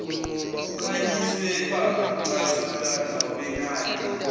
kukhanyiswe bacathula nobenade